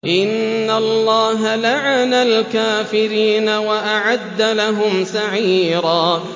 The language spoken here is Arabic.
إِنَّ اللَّهَ لَعَنَ الْكَافِرِينَ وَأَعَدَّ لَهُمْ سَعِيرًا